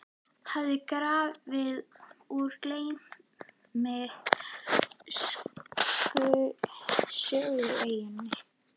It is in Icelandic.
hafði grafið úr gleymsku á Sögueyjunni.